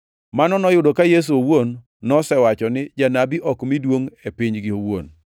(Mano noyudo ka Yesu owuon nosewacho ni janabi ok mi duongʼ e pinygi owuon.)